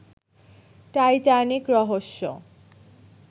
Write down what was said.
Titanic রহস্য